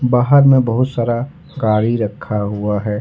बाहर में बहुत सारा गाड़ी रखा हुआ है।